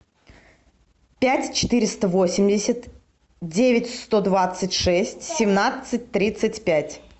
пять четыреста восемьдесят девять сто двадцать шесть семнадцать тридцать пять